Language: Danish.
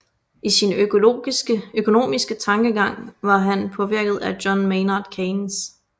I sin økonomiske tankegang var han påvirket af John Maynard Keynes